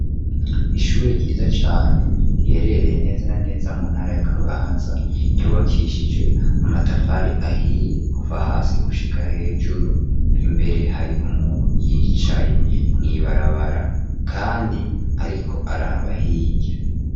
Ishure ryiza cane riherereye neza na neza mu ntara ya kabanza yubakishijwe amatafari ahiye kuva hasi gushika hejuru imbere hari umuntu yicaye mwibarabara, kandi, ariko arabahirya.